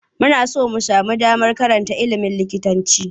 Muna son mu sami damar karanta iimin likitanci.